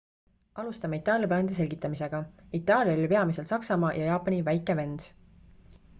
alustame itaalia plaanide selgitamisega itaalia oli peamiselt saksamaa ja jaapani väike vend